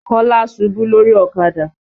Kọ́lá ṣubú lórí ọ̀kadà.